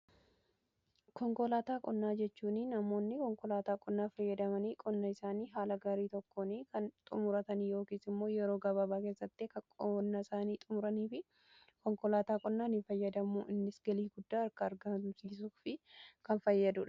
konkolaataa qonnaa jechuuni namoonni konkolaataa qonnaa fayyadamanii qonna isaanii haala gaarii tokkooni kan xumuratanii yookiis immoo yeroo gabaabaa keessatti qonnasaani xumuraniif konkolaataa qonnaanii fayyadamuu innis galii guddaa akka argamsiisuu fi kan fayyadudha